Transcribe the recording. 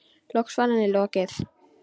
Loks var henni lokið.